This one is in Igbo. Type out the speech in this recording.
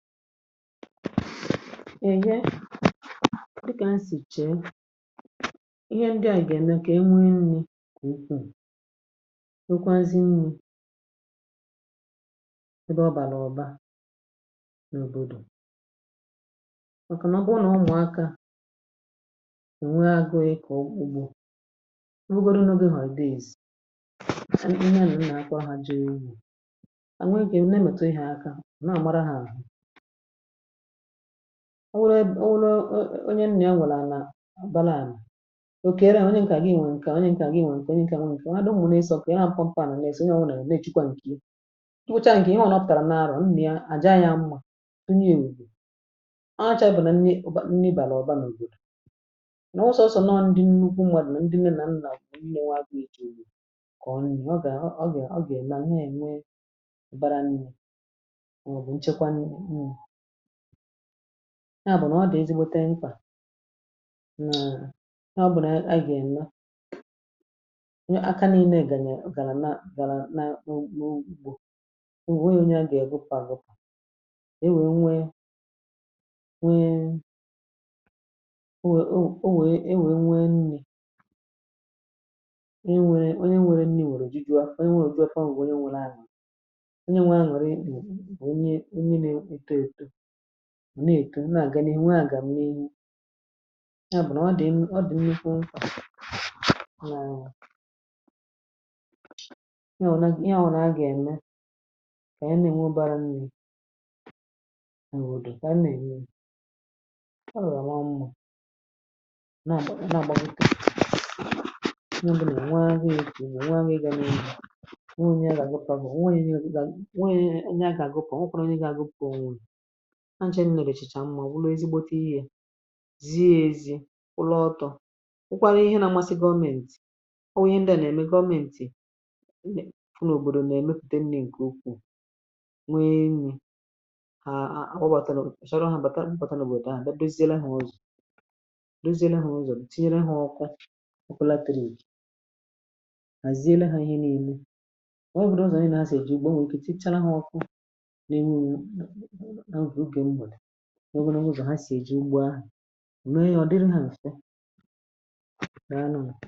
Èhe dịkà m sì chee ihe ndị à yà gà-ème, kà enwee nri̇ n’ukwu nnukwu. Nwokwazì nri, ebe ọ bàlà ọ̀ba n’òbòdò. Màkà nà ọkpa ọnà, ọ nwụ̀akȧ ò nwee agụụ̇. Ịkọ̀ ugbȯ nwụgharị n’obí, mà ebe iz eni ihe nà m nà-akwa hȧ, jere umù à nwee gà-ène metụ̀ ihe aka. Ọ wụrụ, ọ wụrụ onye nni a nwụla nnà, ọ̀ baa n’àlà òkè ire. Onye nkà gị nwèrè nkà; onye nkà gị nwèrè nkà. Ọ adị mmụ̇nà ịsọ, kà ị ha pụpụ̀ mpụ na‑esò onye ọwụnà. Nà ejikwa nkìle, ị wụchaa nkà ihe ọ̀ nọpụ̀kàrà n’arụ̀ m. Ni a àjaa ya mmȧ. Onye èwùdò, ọ chȧ bàlà nni, ọ̀ bàlà ọ̀ba n’òbodò. Nà ọsọọsọ ndị nnukwu mmadù, nà ndị nne nà nnà nni. Ewe àgụ èjùni, kà ọ nni ọ gà, ọ gà, ọ gà èlà ǹne ènwe ụ̀bàrà nni. Ya bụ̀ nà ọ dị̀ ezigbote mkpà. Nà ọ bụ̀ nà anyi gà-ènwo aka nȧ-ene. Gà-ànyi gàrà nà gàrà n’ugbo ùwe onye, onye a gà-ègopà, gupà ewè. Nwèe nwee ewè, ewè nwèe nri, ewè nwèe nwèe nwèe. Nri wèe nwèe nwèe, jiguo ewè nwèe jiguo. Fọwa onye nwere — anyị m na-etu nmà, gana ènwe à gà m n’iki. Ya bụ̀ nà ọ dị̀, ọ dị̀ nmukwu nkà. Naa iha ọ naghi̇ ihe a, ọ na-agà eme, kà m na-enwe bara nni̇. Mà nwèrè ụdị̀, kà m na-enwe ọ nwaọ mmà, nà àgbam nke ihe ọ bụ̀. Nà nwaà nà ị ga n’ihu nwùnye ga gaa, bụ̀ nwaà nye a gà àgụpụ̀. Ọ̀ nwụnụ̀ ha, nche nlà, lèchìchà mma ụlọ̀. Ez igbȯtȧ ihȧ ziė ezi̇, ụlọ̀ ọtọ. Wụkwȧrȧ ihe na mmasị̇ gọmẹntị̀ — ọ wụ̀ ihe ndị à nà-ème gọmẹntị̀. Fụ n’òbòdò, nà-èmepùte nni̇ ǹkè ukwù, nwee nri̇ hà àwụbàtȧ. Nà ọ̀ kpàta m bàta n’òbòdò ahụ̀, dozie le ha ọzọ; dozie le ha ọzọ̀. Bụ̀ tinyere ha ọkwa; ọ̀ kpòlatérì gàzie le ha ihe. N’ime nwa ewěřė ọzọ̀ ànyị ajọ̀ ìjì gbà — nwèrè ike tịchara ha ọkwụ̇ n’oge na oge. Ọzọ̀, ha si eji ugbua mee ya, ọ dịrị ha nfịa, na anụ m.